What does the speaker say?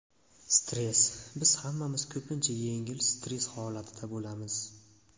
Stress Biz hammamiz ko‘pincha yengil stress holatida bo‘lamiz.